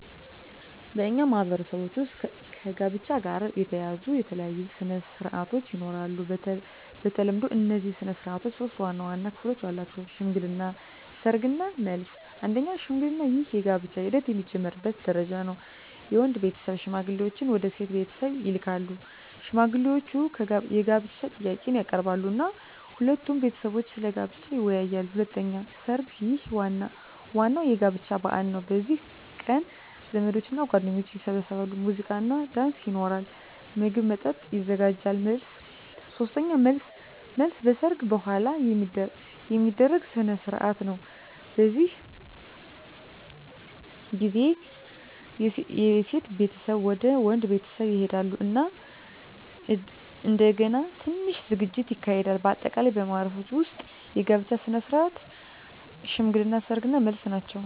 በእኛ ማህበረሰቦች ውስጥ ከጋብቻ ጋር የተያያዙ የተለያዩ ሥነ ሥርዓቶች ይኖራሉ። በተለምዶ እነዚህ ሥነ ሥርዓቶች ሶስት ዋና ዋና ክፍሎች አላቸው፦ ሽምግልና፣ ሰርግ እና መልስ። 1. ሽምግልና ይህ የጋብቻ ሂደት የሚጀምርበት ደረጃ ነው። የወንድ ቤተሰብ ሽማግሌዎችን ወደ ሴት ቤተሰብ ይልካሉ። ሽማግሌዎቹ የጋብቻ ጥያቄን ያቀርባሉ እና ሁለቱ ቤተሰቦች ስለ ጋብቻው ይወያያሉ። 2. ሰርግ ይህ ዋናው የጋብቻ በዓል ነው። በዚህ ቀን ዘመዶችና ጓደኞች ይሰበሰባሉ፣ ሙዚቃና ዳንስ ይኖራል፣ ምግብና መጠጥ ይዘጋጃል። 3. መልስ መልስ በሰርግ በኋላ የሚደረግ ሥነ ሥርዓት ነው። በዚህ ጊዜ የሴት ቤተሰብ ወደ ወንድ ቤተሰብ ይሄዳሉ እና እንደገና ትንሽ ዝግጅት ይካሄዳል። በአጠቃላይ በማኅበረሰባችን ውስጥ የጋብቻ ሥነ ሥርዓቶች ሽምግልና፣ ሰርግ እና መልስ ናቸው።